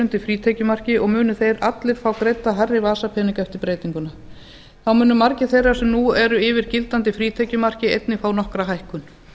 undir frítekjumarki og munu þeir allir fá greidda hærri vasapeninga eftir breytinguna þá munu margir þeirra sem nú eru yfir gildandi frítekjumarki einnig fá nokkra hækkun